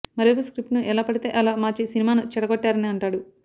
మరోవైపు స్క్రిప్టును ఎలా పడితే అలా మార్చి సినిమాను చెడగొట్టారని అంటాడు